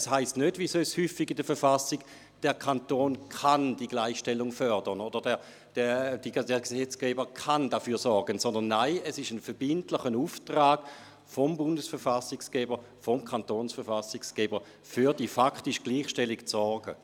Es heisst nicht, wie sonst häufig in der Verfassung, «der Kanton kann die Gleichstellung fördern» oder «der Gesetzgeber kann dafür sorgen», sondern es ist ein verbindlicher Auftrag des Bundesverfassungsgebers und des Kantonsverfassungsgebers, für die faktische Gleichstellung zu sorgen.